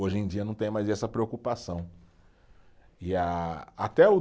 Hoje em dia não tem mais essa preocupação, e a, até o